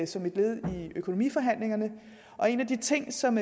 som et led i økonomiforhandlingerne en af de ting som